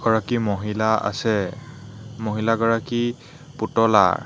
এগৰাকী মহিলা আছে মহিলাগৰাকী পুতলাৰ।